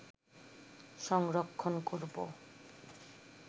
সংরক্ষণ করব